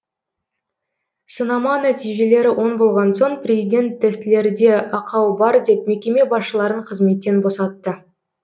сынама нәтижелері оң болған соң президент тестілерде ақау бар деп мекеме басшыларын қызметтен босатты